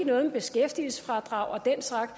noget med beskæftigelsesfradrag og den slags